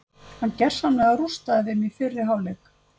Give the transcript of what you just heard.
Hann gersamlega rústaði þeim í fyrri hálfleik.